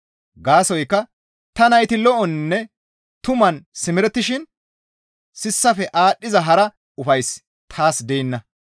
Gaasoykka ta nayti lo7oninne tuman simerettishin sissafe aadhdhiza hara ufayssi taas deenna.